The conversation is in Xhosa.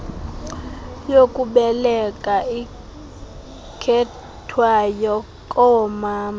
yokubeleka ikhethwayo koomama